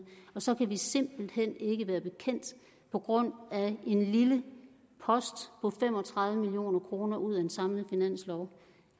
og så kan vi simpelt hen ikke være bekendt på grund af en lille post på fem og tredive million kroner ud af en samlet finanslov